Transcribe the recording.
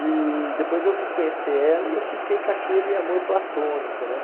E depois eu vim conhecer ela e eu fiquei com aquele amor platônico, né?